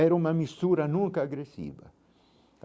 Era uma mistura nunca agressiva.